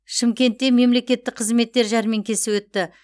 шымкентте мемлекеттік қызметтер жәрмеңкесі өтті